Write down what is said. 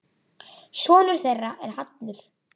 Sonur þeirra er Hallur.